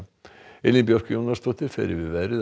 Elín Björk Jónasdóttir fer yfir veðrið að